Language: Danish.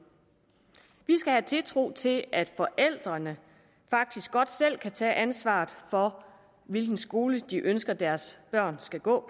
vi skal have tiltro til at forældrene faktisk godt selv kan tage ansvaret for hvilken skole de ønsker deres børn skal gå